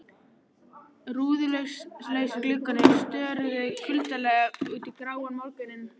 Rúðulausir gluggarnir störðu kuldalega út í gráan morguninn.